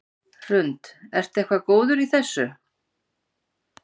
Hrund: Ertu eitthvað góður í þessu?